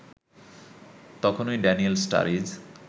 তখনই ড্যানিয়েল স্টারিজ